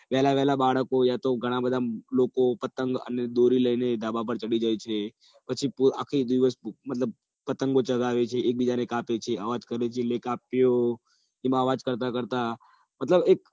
પેલા વહેલા બાળકો અથવા તો ઘણા બધા લોકો પતંગ અને દોરી લઈને ધાબા ઉપર ચઢી જાય છે આખો દિવસ પતંગો ચગાવે છે પતંગ કાપે છે અવાજો કરે છે લે કાપ્યો એમ અવાજ કરતા કરતા મતલબ